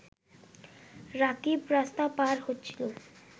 রাকিব রাস্তা পার হচ্ছিল